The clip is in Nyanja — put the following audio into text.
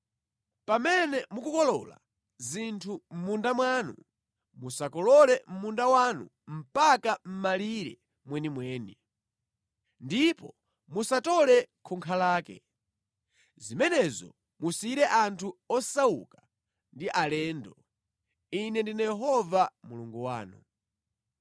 “ ‘Pamene mukukolola zinthu mʼmunda mwanu, musakolole munda wanu mpaka mʼmalire mwenimweni, ndipo musatole khunkha lake. Zimenezo musiyire anthu osauka ndi alendo. Ine ndine Yehova Mulungu wanu.’ ”